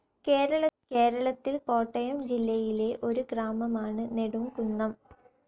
കേരളത്തിൽ കോട്ടയം ജില്ലയിലെ ഒരു ഗ്രാമമാണ്‌ നെടുംകുന്നം.